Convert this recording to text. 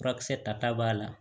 Furakisɛ ta b'a la